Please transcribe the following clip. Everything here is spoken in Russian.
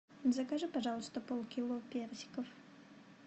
закажи пожалуйста полкило персиков